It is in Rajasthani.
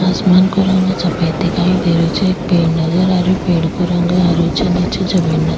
आसमान को रंग सफ़ेद दिखाई दे रहियो छे एक पेड़ नजर आ रहियो पेड़ को रंग हरो छे नीचे जमीन नज --